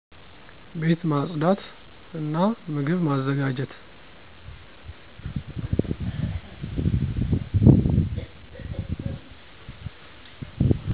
ቤት ማጽዳት እና ምግብ ማዘጋጀት።